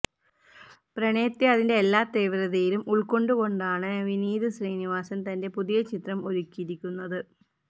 പ്രണയത്തെ അതിന്റെ എല്ലാ തീവ്രതയിലും ഉള്ക്കൊണ്ടുകൊണ്ടാണ് വിനീത് ശ്രീനിവാസന് തന്റെ പുതിയ ചിത്രം ഒരുക്കിയിരിക്കുന്നത്